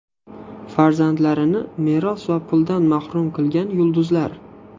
Farzandlarini meros va puldan mahrum qilgan yulduzlar .